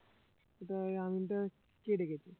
সেটা ওই আমিনটা কে ডেকেছে?